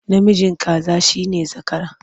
Namijin kaza shi ne zakara.